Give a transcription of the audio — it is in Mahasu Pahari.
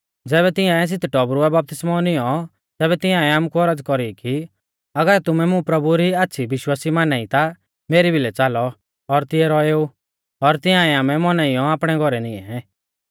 ज़ैबै तिंआऐ सित टौबरुऐ बपतिस्मौ निऔं तैबै तिंआऐ आमुकु औरज़ कौरी कि अगर तुमै मुं प्रभु री आच़्छ़ी विश्वासी माना ई ता मेरी भिलै च़ालौ और तिऐ रौएऊ और तिंआऐ आमै मौनाइयौ आपणै घौरै निऐं